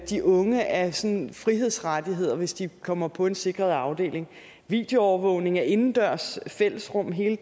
de unge af sådan frihedsrettigheder hvis de kommer på en sikret afdeling videoovervågning af indendørs fællesrum hele